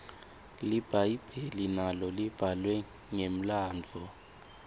libhayibheli nalo libhalwe ngemlandvo